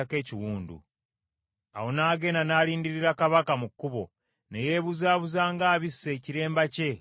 Awo n’agenda n’alindirira kabaka mu kkubo, ne yeebuzaabuza ng’abisse ekiremba kye ku maaso ge.